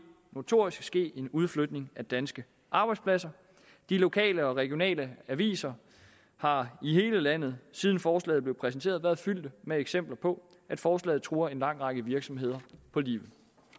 notorisk ske en udflytning af danske arbejdspladser de lokale og regionale aviser har i hele landet siden forslaget blev præsenteret været fyldt med eksempler på at forslaget truer en lang række virksomheder på livet